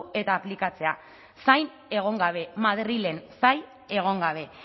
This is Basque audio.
eta aplikatzea zain egon gabe madrilen zain egon gabe